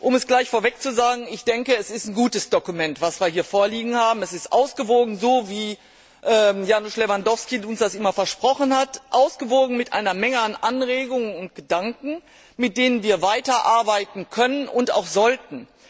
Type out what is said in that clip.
Um es gleich vorweg zu sagen, ich denke, es ist ein gutes Dokument, das wir hier vorliegen haben. Es ist ausgewogen, so wie Janusz Lewandowski uns das immer versprochen hat, ausgewogen mit einer Menge von Anregungen und Gedanken, mit denen wir weiterarbeiten können und auch sollten.